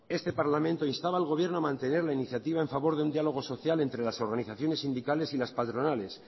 este parlamento instaba al gobierno a mantener la iniciativa en favor de un diálogo social entre las organizaciones sindicales y las patronales